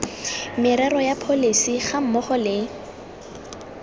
merero ya pholesi gammogo le